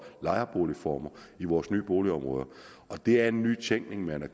lejerboligformer i vores nye boligområder det er nytænkning man har